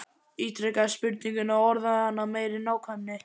Ítrekaði spurninguna og orðaði hana af meiri nákvæmni.